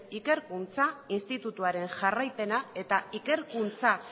ikerkuntza institutuaren jarraipena eta ikerkuntza